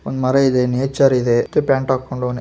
ಒಂದ ಮರ ಇದೆ ನೆಚರ್ ಇದೆ ಪ್ಯಾಂಟ್ ಹಾಕೊಂಡಿದಾನೆ .